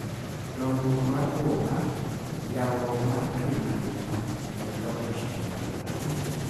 Dongruok mar boma, yawruok mar piny mangima, kod loko chike mag oganda